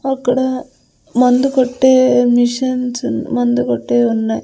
అక్కడ మందు కొట్టే మిషిన్స్ మందు కొట్టేవి ఉన్నాయి.